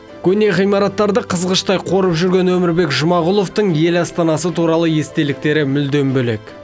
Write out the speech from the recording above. көне ғимараттарды қызғыштай қорып жүрген өмірбек жұмағұловтың ел астанасы туралы естеліктері мүлдем бөлек